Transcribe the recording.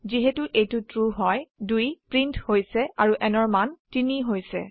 যিহেতু এইটো ট্ৰু হয় 2 প্ৰীন্ট হৈছে আৰু n ৰ মান 3 হৈছে